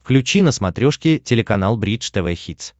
включи на смотрешке телеканал бридж тв хитс